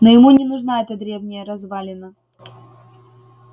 но ему не нужна эта древняя развалина